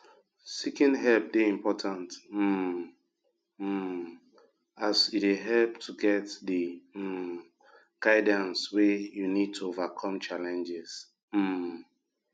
seeking help dey important um um as e dey help to get di um guidance wey we need to overcome challenges um